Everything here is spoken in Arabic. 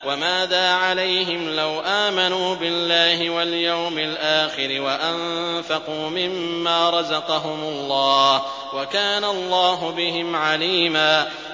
وَمَاذَا عَلَيْهِمْ لَوْ آمَنُوا بِاللَّهِ وَالْيَوْمِ الْآخِرِ وَأَنفَقُوا مِمَّا رَزَقَهُمُ اللَّهُ ۚ وَكَانَ اللَّهُ بِهِمْ عَلِيمًا